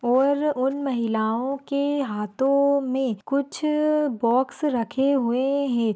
और उन महिलाओं के हाथों में कुछ बॉक्स रखे हुए हैं।